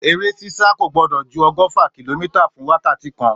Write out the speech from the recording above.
Èré sísà kò gbò dò jú ọgọfà kílòmítà fún wàkàtí kán